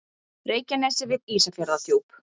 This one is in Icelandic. Reykjanesi við Ísafjarðardjúp.